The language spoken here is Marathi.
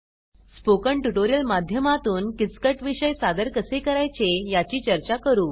स्पोकन ट्युटोरियल माध्यमातून किचकट विषय सादर कसे करायचे याची चर्चा करू